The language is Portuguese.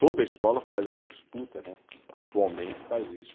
Toda escola faz essa disputa né, atualmente faz isso.